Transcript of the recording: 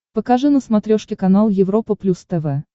покажи на смотрешке канал европа плюс тв